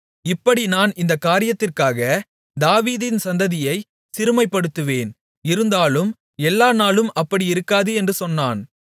இப்படி நான் இந்தக் காரியத்திற்காக தாவீதின் சந்ததியைச் சிறுமைப்படுத்துவேன் இருந்தாலும் எல்லா நாளும் அப்படி இருக்காது என்று சொன்னான்